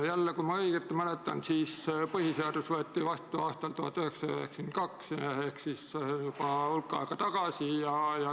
Jälle, kui ma õigesti mäletan, siis põhiseadus võeti vastu aastal 1992 ehk juba hulk aega tagasi.